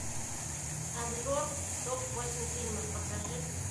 обзор топ восемь фильмов покажи